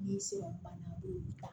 Ni sɔrɔ banna a b'o ta